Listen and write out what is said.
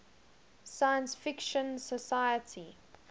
science fiction society